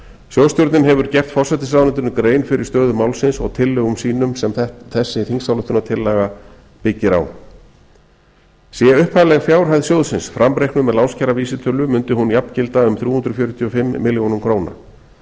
sjóðstjórnin hefur gert forsætisráðuneytinu grein fyrir stöðu málsins og tillögum sínum sem þessi þingsályktunartillaga byggir á sé upphafleg fjárhæð framreiknuð með lánskjaravísitölu mundi hún jafngilda um þrjú hundruð fjörutíu og fimm milljónir króna